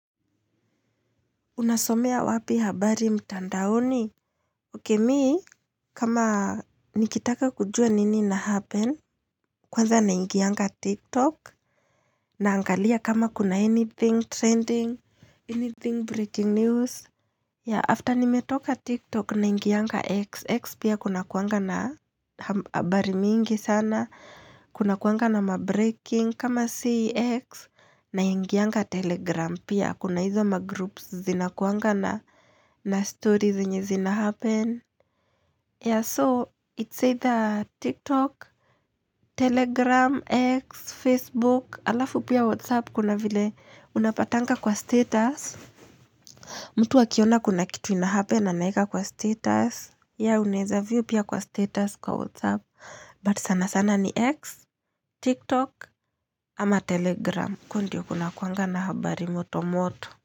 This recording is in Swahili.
Unasomea wapi habari mtandaoni? Oke mii, kama nikitaka kujua nini na happen, kwanza na ingianka TikTok, na angalia kama kuna anything trending, anything breaking news. Ya, after nimetoka TikTok, na ingianka XX pia kuna kuanga na habari mingi sana, kuna kuanga na mabreaking, kama CX, na ingianka Telegram pia. Kuna hizo ma groups zinakuangana na stories nye zinahappen ya so it's either TikTok, Telegram, X, Facebook Alafu pia Whatsapp kuna vile unapatanga kwa status mtu wakiona kuna kitu inahappen anaika kwa status ya uneza vio pia kwa status kwa Whatsapp But sana sana ni X, TikTok ama Telegram uko ndio kuangana habari moto moto.